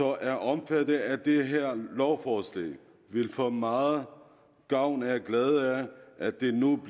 er omfattet af det her lovforslag vil få meget gavn og glæde af at de nu